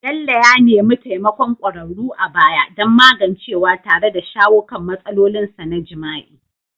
Bello ya nemi taimakon kwararru a baya don magancewa tare da shawo kan matsalolinsa na jima'i.